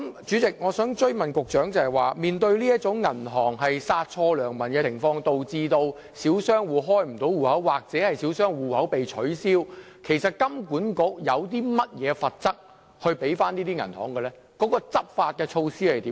主席，我想追問局長，面對銀行殺錯良民，導致小商戶無法開立帳戶或帳戶被取消，金管局有否針對這些銀行訂定任何罰則及執法措施？